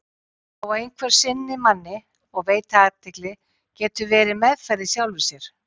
Það að einhver sinni manni og veiti athygli getur verið meðferð í sjálfu sér.